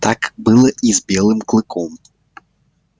так было и с белым клыком